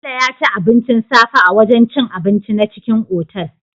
Bello yaci abincin safe a wajan cin abinci na cikin otal